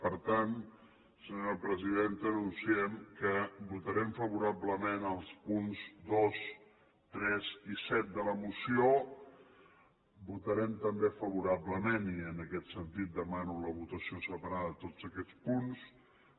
per tant senyora presidenta anunciem que votarem favorablement els punts dos tres i set de la moció votarem també favorablement i en aquest sentit demano la votació separada de tots aquests punts